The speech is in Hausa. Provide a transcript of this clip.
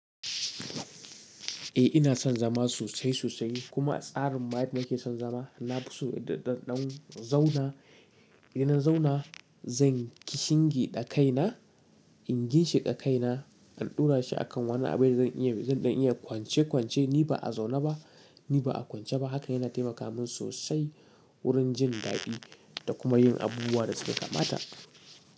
Eh ina son zama sosai sosai kuma tsarin mayadda nake son zama. Na fi so idan ɗan zauna, idan na zauna zan kishingi ɗakaina, in ginshe ɗakaina, in ɗura shi a kan wani abin da zan iya, zan ɗan iya kwance kwance ni ba a zauna ba, ni ba a kwance ba. Haka yana taimaka min sosai wurin jin daɗi da kuma yin abubuwan da suke kamata.